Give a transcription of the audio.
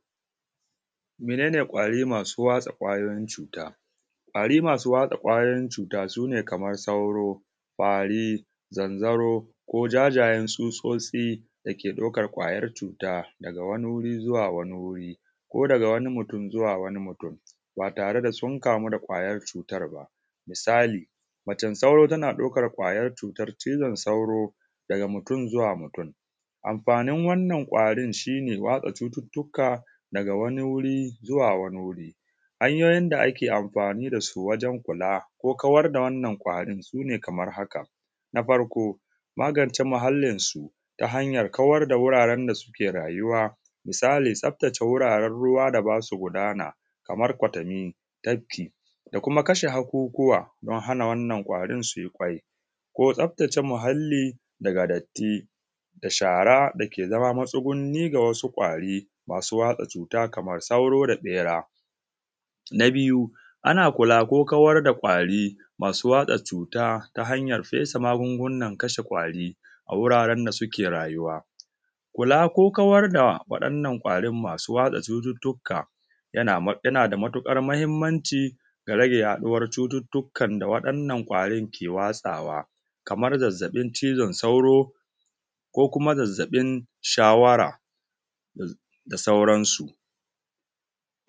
Mene ƙwari masu watsa cuta su ne kamar sauro ƙwari zanzaro ko jajayen tsutsotsi dake ɗaukar ƙwayar cuta daga wani wuri zuwa wani wuri daga wani mutum zuwa wani mutum ba tare da sun kamu da ƙwayar cutar ba. Misali macen sauro tana ɗaukar ƙwayar cutar cizon sauro daga mutum zuwa mutum. Amfanin wannan ƙwari shi ne watsa cututtuka daga wani wuri zuwa wani wuri hanyoyin da ake amfani da su wajen kula ko kawar da wannan ƙwari su ne kamar haka. Na farko magance muhallinsu shi ne hanyar kawar da wuraren da suke rayuwa misali tasftace wuraren ruwa da ba su gudana kamar kwatanni tafki da kuma kashe aukuwa don hana wannan ƙwarin su yi ƙyau ko tsaftace muhalli daga datti da shara dake zama matsugunni da ƙwari na masu watsa cuta kamar saura da ɓera. Na biyu ana kula ko kawar da ƙwari masu watsa cuta ta hanyar fesa magungunan kashe ƙwari a wuraren da suke rayuwa kula ko kawai da wannan ƙwari masu watsa cututtuka yana da matuƙar mahimmanci ga yaɗuwar cututtuka da waɗannan ƙwari ke watsawa kamar zazzaɓin cizon sauro ko kuma zazzaɓin shawara da sauransu